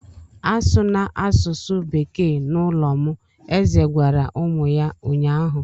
A sụna asụsụ Bekee n'ụlọ m! Eze gwara ụmụ ya ụnyahụ.